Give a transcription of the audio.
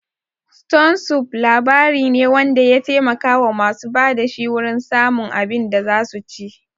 Ston sup' labari ne wanda ya taimaka wa masu ba da shi wurin samun abin da zasu ci